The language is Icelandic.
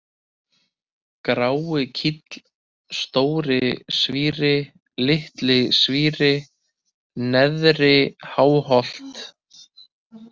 Gráikíll, Stóri-Svíri, Litli-Svíri, Neðri-Háholt